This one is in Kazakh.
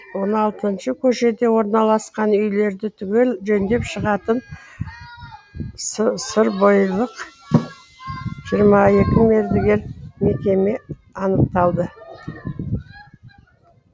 он алтыншы көшеде орналасқан үйлерді түгел жөндеп шығатын сырбойылық жиырма екі мердігер мекеме анықталды